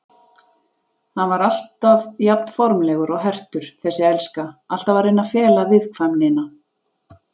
Hann var alltaf jafnformlegur og hertur, þessi elska, alltaf að reyna að fela viðkvæmnina.